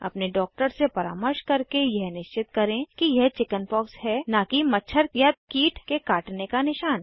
अपने डॉक्टर से परामर्श करके यह निश्चित करें कि यह चिकिन्पॉक्स है न कि मच्छर कीट के काटने का निशान